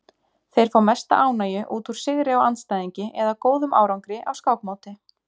Þeir fá mesta ánægju út úr sigri á andstæðingi eða góðum árangri á skákmóti.